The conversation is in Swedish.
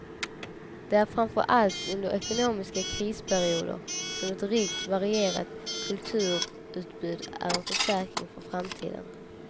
Det är framförallt under ekonomiska krisperioder som ett rikt och varierat kulturutbud är en försäkring för framtiden.